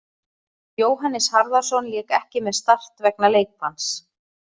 Jóhannes Harðarson lék ekki með Start vegna leikbanns.